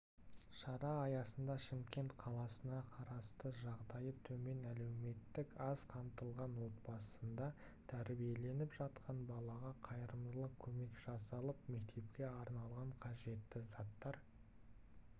шара аясында шымкент қаласына қарасты жағдайы төмен әлеуметтік аз қамтылған отбасында тәрбиеленіп жатқан балаға қайрымдылық көмек жасалып мектепке арналған қажетті заттар